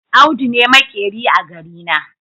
Audu ne maƙeri a garina.